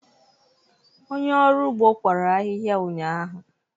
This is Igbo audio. Onye ọrụ ugbo kwara ahịhịa ụnyahụ